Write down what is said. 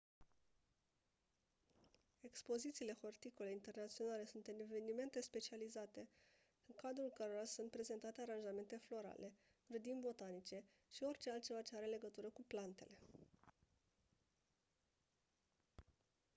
expozițiile horticole internaționale sunt evenimente specializate în cadrul cărora sunt prezentate aranjamente florale grădini botanice și orice altceva ce are legătură cu plantele